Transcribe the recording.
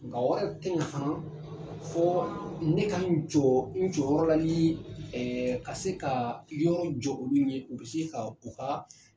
Nga o yɛrɛ tɛ ɲa fana fɔ ne ka n jɔ n jɔyɔrɔ la ni ka se ka yɔrɔ jɔ olu ye u bɛ se ka u ka